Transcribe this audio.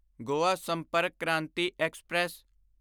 Goa Sampark Kranti express